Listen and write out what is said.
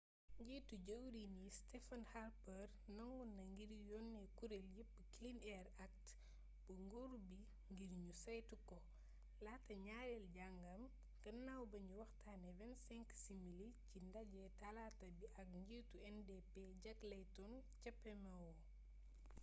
njiitu jëwriñ yi stephen harper nangu na ngir yonne kureel yëpp clean air act' bu nguur bi ngir ñu saytu ko laata ñaarel jàngam gannaaw bañu waxtaane 25 simili ci nadje talaata bi ak njiitu ndp jack layton ca pmo